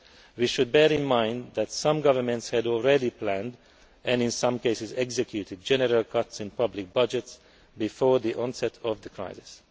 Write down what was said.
We should bear in mind that some governments had already planned and in some cases executed general cuts in public budgets before the onset of the crisis.